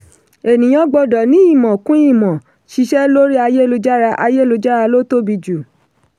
ènìyàn gbọ́dọ̀ ní ìmọ̀ kún ìmọ̀ ṣíṣe lórí ayélujára ayélujára ló tóbi jù.